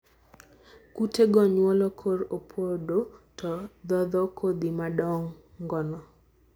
kute go chuoyo korr opodo to dhodho kodhi madongono.